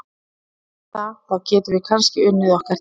Eftir það, þá getum við kannski unnið okkar titla.